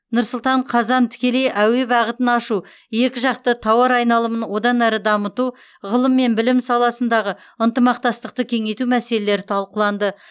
нұр сұлтан қазан тікелей әуе бағытын ашу екі жақты тауар айналымын одан әрі дамыту ғылым мен білім саласындағы ынтымақтастықты кеңейту мәселелері талқыланды